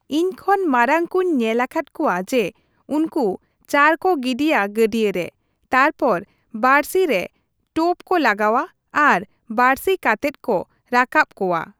ᱤᱧ ᱠᱷᱚᱱ ᱢᱟᱨᱟᱝ ᱠᱚᱧ ᱧᱮᱞ ᱟᱠᱟᱫ ᱠᱚᱣᱟ ᱡᱮ ᱩᱱᱠᱩ ᱪᱟᱨ ᱠᱚ ᱜᱤᱰᱤᱭᱟ ᱜᱟᱹᱰᱭᱟᱹ ᱨᱮ ᱛᱟᱨᱯᱚᱨ ᱵᱟᱹᱲᱥᱤ ᱨᱮ ᱴᱳᱯ ᱠᱚ ᱞᱟᱜᱟᱣᱟ ᱟᱨ ᱵᱟᱹᱲᱥᱤ ᱠᱟᱛᱮᱫ ᱠᱚ ᱨᱟᱠᱟᱵ ᱠᱚᱣᱟ ᱾